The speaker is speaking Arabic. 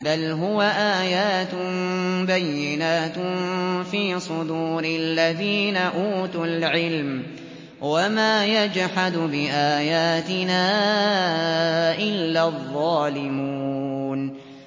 بَلْ هُوَ آيَاتٌ بَيِّنَاتٌ فِي صُدُورِ الَّذِينَ أُوتُوا الْعِلْمَ ۚ وَمَا يَجْحَدُ بِآيَاتِنَا إِلَّا الظَّالِمُونَ